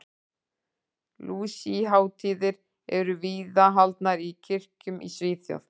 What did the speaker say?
Lúsíuhátíðir eru víða haldnar í kirkjum í Svíþjóð.